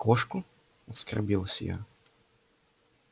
кошку оскорбилась я